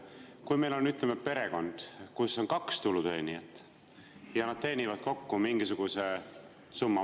Kui meil on, ütleme, perekond, kus on kaks tuluteenijat, ja nad teenivad kokku mingisuguse summa.